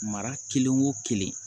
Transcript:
Mara kelen o kelen